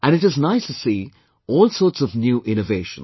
And it is nice to see all sorts of new innovations